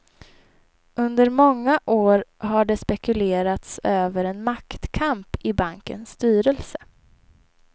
Under många år har det spekulerats över en maktkamp i bankens styrelse.